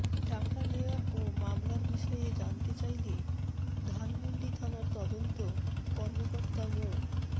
টাকা নেয়া ও মামলার বিষয়ে জানতে চাইলে ধানমন্ডি থানার তদন্ত কর্মকর্তা মো